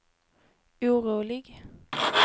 orolig